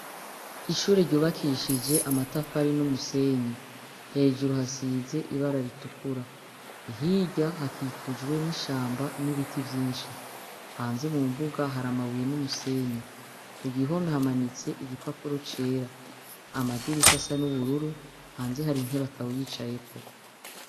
Ishure ryubakishije amatafari n'umusenyi. Hejuru hasize ibara ritukura. Hirya hakikujwe n'ishamba n'ibiti vyinshi. Hanze mu mbuga hari amabuye n'umusenyi. Ku gihome hamanitse igipapuro cera. Amadirisha asa n'ubururu, hanze hari intebe atawuyicayeko.